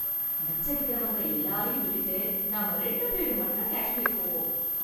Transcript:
நச்சரிக்கறவங்க எல்லாரையும் விட்டுட்டு நாம ரெண்டு பேரு மட்டும் காஷ்மீர் போவோம்.